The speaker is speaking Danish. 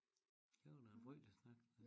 Det var da en frygtelig snak